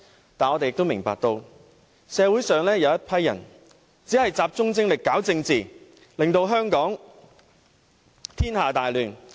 但是，我們也明白，社會上有一群人只集中精力搞政治，令香港天下大亂。